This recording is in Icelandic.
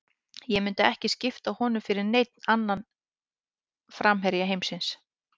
Ég myndi ekki skipta honum fyrir neinn annan framherja heimsins.